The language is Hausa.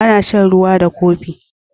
Ana shan ruwa da kopi.